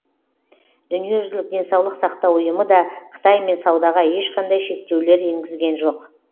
дүниежүзілік денсаулық сақтау ұйымы да қытаймен саудаға ешқандай шектеулер енгізген жоқ